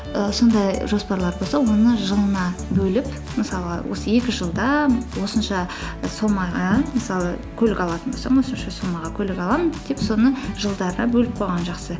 і сондай жоспарлар болса оны жылына бөліп мысалы осы екі жылда осынша суммаға мысалы көлік алатын болсам осынша суммаға көлік аламын деп соны жылдарға бөліп қойған жақсы